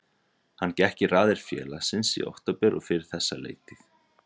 Hann gekk í raðir félagsins í október og fyrir þessa leiktíð.